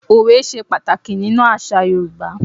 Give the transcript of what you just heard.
Òwe se pàtàkì nínú àsà Yorùbá